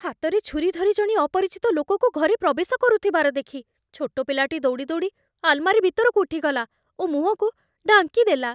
ହାତରେ ଛୁରୀ ଧରି ଜଣେ ଅପରିଚିତ ଲୋକକୁ ଘରେ ପ୍ରବେଶ କରୁଥିବାର ଦେଖି ଛୋଟ ପିଲାଟି ଦୌଡ଼ି ଦୌଡ଼ି ଆଲମାରୀ ଭିତରକୁ ଉଠିଗଲା ଓ ମୁହଁକୁ ଢାଙ୍କି ଦେଲା।